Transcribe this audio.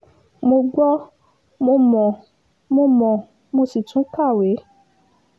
mo gbọ́ mo mọ̀ mo mọ̀ mo sì tún kàwé